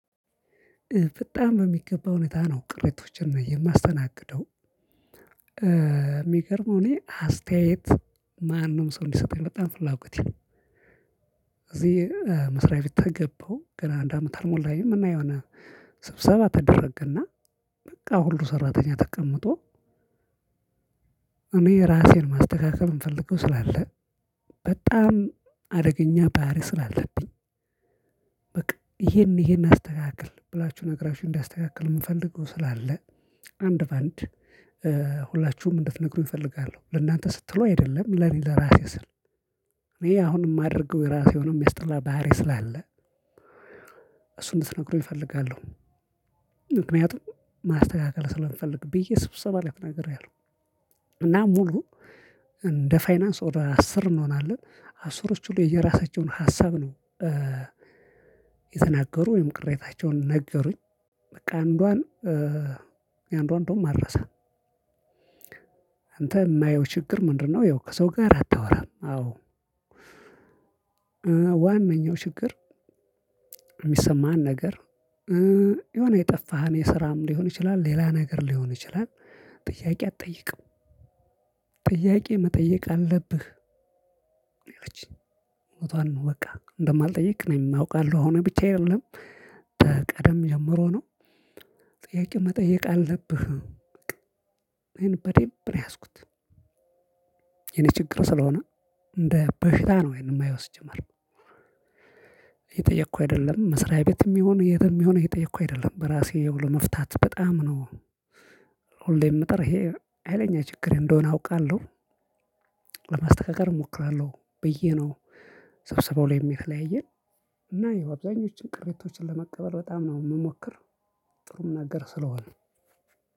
በጣም በሚገባ ሁኔታ ነው ቅሬቶችን የማስተናግደው። የሚገርመው እኔ አስተያየት። ማንም ሰው እንዲሰጠኝ በጣም ፍላጎቴ ነው። እዚህ መስሪያ ቤት ተገባው ገና አንድ አመት አልሞላኝም። እና የሆነ ስብሰባ ተደረገና በቃ ሁሉ ሰራተኛ ተቀምጦ። እኔ ራሴን ማስተካከል የምፈልገው ስላለ በጣም አደገኛ ባህሪ ስላለብኝ። በቃ ይሄን ይሄን አስተካክል ብላችሁ ነገራችሁ እንዳስተካክል የምፈልገው ስላለ። አንድ በአንድ ሁላችሁም እንድትነግሩኝ እፈልጋለሁ ለእናንተ ስትሉ አይደለም ለእኔ ለእራሴ ስል። እኔ አሁን የማደርገውየራሴ የሆነ የሚያስጠላ ባህሪ ስላለ እሱን እንድነግሩኝ እፈልጋለሁ። ምክኒያቱም ማስተካከል ስለምፈልግ ብየ ስብሰባ ላይ ተናግሪያለሁ። እና ሙሉ እንደ ፋይናንስ ወደ አስር እንሆናለን አስሮቹ ሁሉ የየራሳቸውን ሀሳብ ነው የተናገሩ ወይም ቅሬታቸውን ነገሩኝ። አንዷን የአንዷን እንደውም አልረሳም። አንተ የማየው ችግር ምንድን ነው? ያው ከሰው ጋር አታወራም አወ ዋነኛው ችግር። የሚሰማህን ነገር የሆነ የጠፋህን የስራም ሊሆን ይችላል ሌላም ነገር ሊሆን ይችላል። ጥያቄ አትጠይቅም። ጥያቄ መጠየቅ አለብህ። ነው ያለችኝ። እውነቷን ነው በቃ እንደማልጠይቅ እኔም አውቃለሁ ነው አሁን ብቻ አየለም ተቀደም ጀምሮ ነው። ጥያቄ መጠየቅ አለብህ። በዴምብ ነው የያዝኩት። የኔ ችግር ስለሆነ እንደ በሽታ ነው የማየው ሲጀመር። እየጠየኩ አይደለም መስሪያ ቤትም ይሁን የትም ይሁን እየጠየኩ አይደለም በራሴ ለመፍታት በጣም ነው። ሁሌም ምጥር ይሄ ሀይለኛ ችግር እንደሆነ አውቃለሁ። እሞክራለሁ ብዬ ነው። ሰብሰባው ላይ የተለያየን እና ይኸው አብዛኞቹን ቅሬቶችን ለመቀበል በጣም ነው የምሞክር። ጥሩም ነገር ስለሆነ።